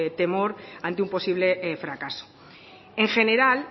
temor ante un posible fracaso en general